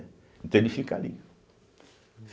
Então ele fica ali.